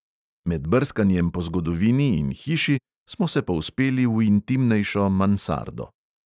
Med brskanjem po zgodovini in hiši smo se povzpeli v intimnejšo mansardo.